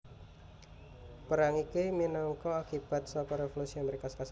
Perang iki minangka akibat saka Revolusi Amérika Sarékat